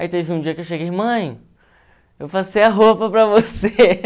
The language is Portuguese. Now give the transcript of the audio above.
Aí teve um dia que eu cheguei, mãe, eu passei a roupa para você.